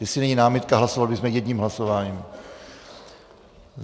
Jestli není námitka, hlasovali bychom jedním hlasováním.